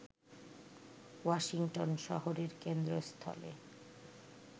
Washington শহরের কেন্দ্রস্থলে